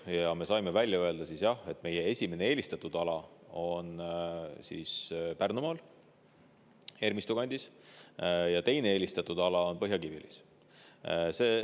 Ja me saime välja öelda: jah, meie esimene eelistatud ala on Pärnumaal Ermistu kandis ja teine eelistatud ala on Põhja-Kiviõlis.